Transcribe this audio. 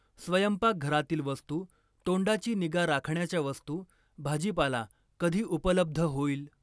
स्वयंपाकघरातील वस्तू, तोंडाची निगा राखण्याच्या वस्तू, भाजीपाला कधी उपलब्ध होईल?